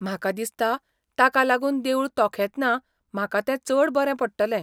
म्हाका दिसता ताका लागून देवूळ तोखेतना म्हाका तें चड बरें पडटलें.